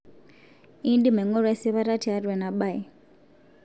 indim aing'oru esipata tiatua ena bae